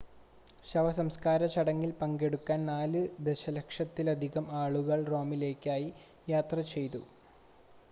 ശവ സംസ്‌കാര ചടങ്ങിൽ പങ്കെടുക്കാൻ നാല് ദശലക്ഷത്തിലധികം ആളുകൾ റോമിലേക്ക് യാത്ര ചെയ്തു